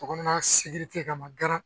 Kɔnɔna sidiki ka maka